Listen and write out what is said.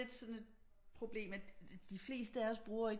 Lidt sådan et problem at de fleste af os bruger ikke